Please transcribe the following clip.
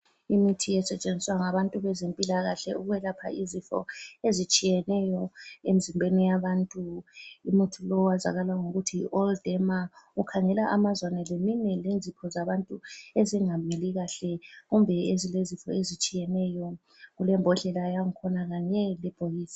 Imithi esetshenziswa ngabantu bezempilakahle ukwelapha izifo ezitshiyeneyo emzimbeni yabantu. Umuthi lo owazakala ngokuthi yiAll Derma ukhangela amazwane leminwe lenzipho zabantu ezingamili kahle kumbe ezilezifo ezitshiyeneyo. Kulembodlela yakhona Kanye lebhokisi.